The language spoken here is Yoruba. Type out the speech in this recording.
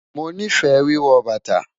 Mo nifẹ́ wíwọ́ bátà